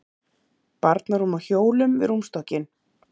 Barnarúm á hjólum við rúmstokkinn.